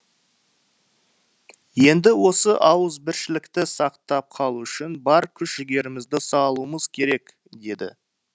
енді осы ауызбіршілікті сақтап қалу үшін бар күш жігерімізді салуымыз керек деді